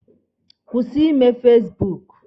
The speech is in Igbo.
Kwụsị ime fasibuuku!